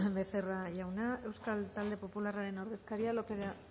becerra jauna euskal talde popularraren taldearen ordezkaria lópez de